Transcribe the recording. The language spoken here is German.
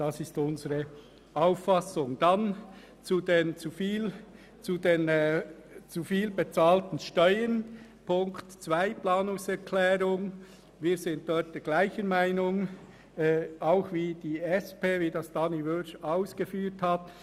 Zur Planungserklärung 2 zu den zu viel bezahlten Steuern: Wir sind dort derselben Meinung wie die SP-JUSO-PSAFraktion.